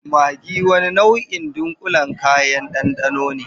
Maggi wani nau'in dunƙulen kayan ɗanɗano ne.